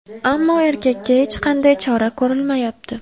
Ammo erkakka hech qanday chora ko‘rilmayapti.